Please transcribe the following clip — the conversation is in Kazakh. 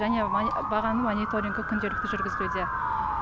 және бағаның мониторингі күнделікті жүргізілуде